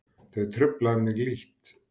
Þau trufla mig lítt.